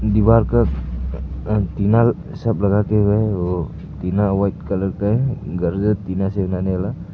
दीवार का अ टीना सब लगा के हुए है वो टीना व्हाईट कलर का है --